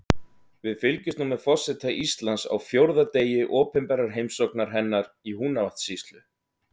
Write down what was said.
Við fylgjumst nú með forseta Íslands á fjórða degi opinberrar heimsóknar hennar í Húnavatnssýslu.